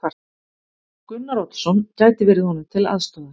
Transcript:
Gunnar Oddsson gæti verið honum til aðstoðar.